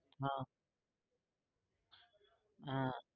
હા હા